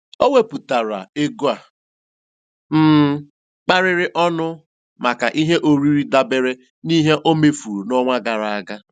O wepụtara ego a um kapịrị ọnụ maka ihe oriri dabere n'ihe o mefuru n'ọnwa gara aga.